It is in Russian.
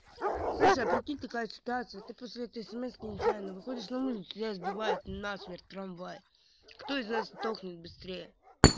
слышишь а прикинь такая ситуация ты после этой смс нечаянно выходишь на улицу тебя сбивает насмерть трамвай кто из нас сдохнет быстрее